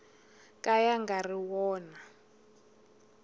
ka ya nga ri wona